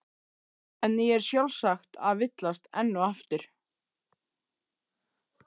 En ég er sjálfsagt að villast enn og aftur.